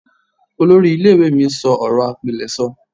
Olori ile iwe mi n sọ ọrọ apileso